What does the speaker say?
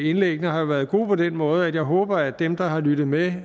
indlæggene har været gode på den måde at jeg håber at dem der har lyttet med